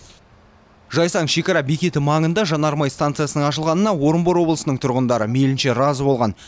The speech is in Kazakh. жайсаң шекара бекеті маңында жанармай станциясының ашылғанына орынбор облысының тұрғындары мейілінше разы болған